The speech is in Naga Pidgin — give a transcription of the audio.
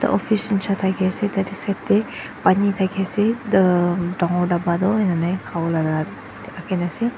office nshina thakae ase tatae side tae pani thakae ase dangor dapa toh enana khawolae rakhina ase.